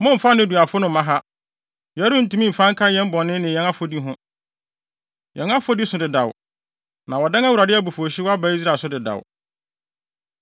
“Mommfa nneduafo no mma ha! Yɛrentumi mfa nka yɛn bɔne ne yɛn afɔdi ho. Yɛn afɔdi so dedaw, na wɔadan Awurade abufuwhyew no aba Israel so dedaw.”